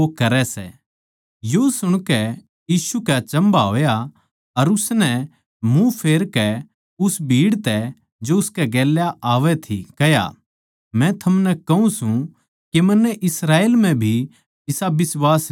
यो सुणकै यीशु कै अचम्भा होया अर उसनै मुँह फेरकै उस भीड़ तै जो उसकै गेल्या आवै थी कह्या मै थमनै कहूँ सूं के मन्नै इस्राएल म्ह भी इसा बिश्वास न्ही देख्या